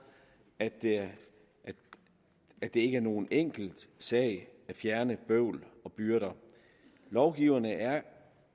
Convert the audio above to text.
at at det ikke er nogen enkel sag at fjerne bøvl og byrder lovgiverne er